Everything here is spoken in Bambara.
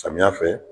Samiya fɛ